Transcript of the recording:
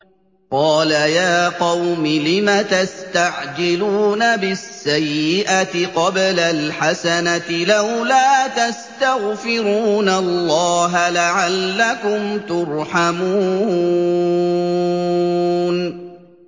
قَالَ يَا قَوْمِ لِمَ تَسْتَعْجِلُونَ بِالسَّيِّئَةِ قَبْلَ الْحَسَنَةِ ۖ لَوْلَا تَسْتَغْفِرُونَ اللَّهَ لَعَلَّكُمْ تُرْحَمُونَ